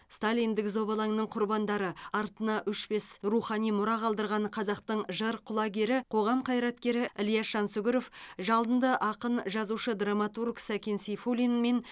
сталиндік зобалаңның құрбандары артына өшпес рухани мұра қалдырған қазақтың жыр құлагері қоғам қайраткері ілияс жансүгіров жалынды ақын жазушы драматург сәкен сейфуллин мен